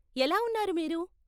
ఎలా ఉన్నారు మీరు?